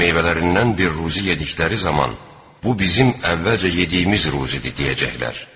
Meyvələrindən bir ruzi yedikləri zaman bu bizim əvvəlcə yediyimiz ruzidir deyəcəklər.